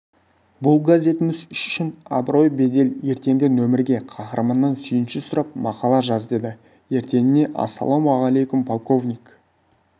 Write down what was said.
бұл газетіміз үшін абырой бедел ертеңгі нөмірге қаһарманнан сүйінші сұрап мақала жаз деді ертеңіне ассалаумағалейкум полковник